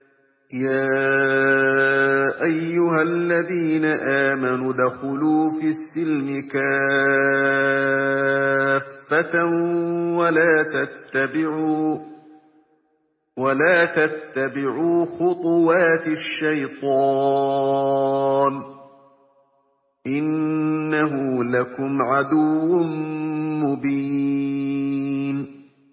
يَا أَيُّهَا الَّذِينَ آمَنُوا ادْخُلُوا فِي السِّلْمِ كَافَّةً وَلَا تَتَّبِعُوا خُطُوَاتِ الشَّيْطَانِ ۚ إِنَّهُ لَكُمْ عَدُوٌّ مُّبِينٌ